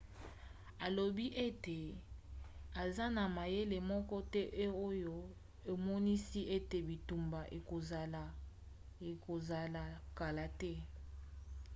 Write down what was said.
alobai ete aza na mayele moko te oyo emonisi ete bitumba ekozala kala te